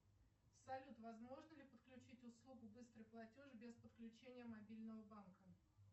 салют возможно ли подключить услугу быстрый платеж без подключения мобильного банка